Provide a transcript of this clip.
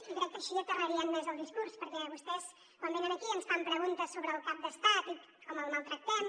i crec que així aterrarien més el discurs perquè vostès quan venen aquí ens fan preguntes sobre el cap d’estat i com el maltractem